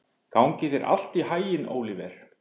Gangi þér allt í haginn, Óliver.